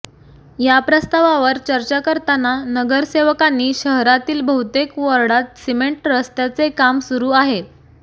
या प्रस्तावावर चर्चा करताना नगरसेवकांनी शहरातील बहुतेक वॉर्डांत सिमेंट रस्त्याचे काम सुरू आहे